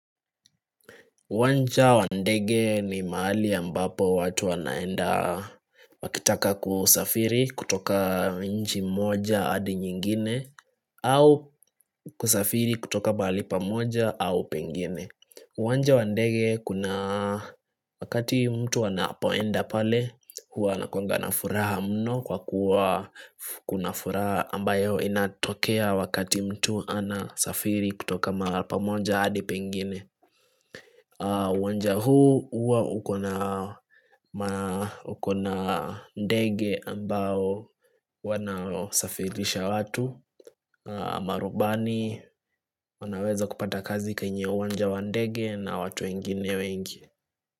Uwanja wa ndege ni mahali ambapo watu wanaenda wakitaka kusafiri kutoka nchi moja hadi nyingine au kusafiri kutoka mahali pamoja au pengine uwanja wa ndege kuna wakati mtu anapoenda pale huwa anakuanga na furaha mno kwa kuwa kuna furaha ambayo inatokea wakati mtu anasafiri kutoka mahali pamoja hadi pengine Wanja huu uwa ukona ndege ambao wanasafirisha watu Marubani wanaweza kupata kazi kwenye uwanja wa ndege na watu wengine wengi.